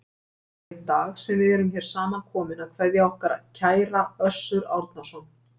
Það er í dag sem við erum hér samankomin að kveðja okkar kæra Össur Árnason.